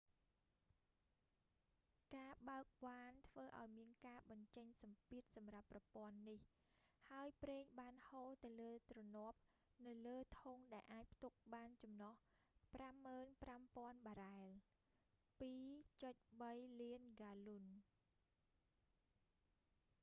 ការបើកវ៉ានធ្វើឱ្យមានការបញ្ចេញសម្ពាធសម្រាប់ប្រព័ន្ធនេះ ហើយប្រេងបានហូរនៅលើទ្រនាប់នៅលើធុងដែលអាចផ្ទុកបានចំណុះ 55,000 បារ៉ែល 2.3 លានហ្គាឡុន